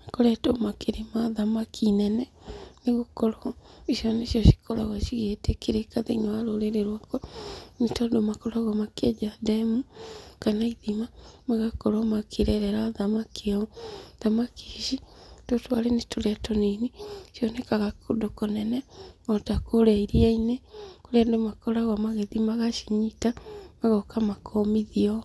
makoretwo makĩrĩma thamaki nene, nĩgũkorwo icio nĩcio cikoragwo cigĩtĩkĩrĩka thĩinĩ wa rũrĩrĩ rwakwa, nĩtondũ makoragwo makĩenja ndemu, kana ithima, magakorwo makĩrerera thamaki hau. Thamaki ici, tũtũ arĩ nĩtũrĩa tũnini, cionekaga kũndũ kũnene, ota kũrĩa iria-inĩ, kũrĩa andũ makoragwo magĩthiĩ magacinyita, magoka makomithia ũũ.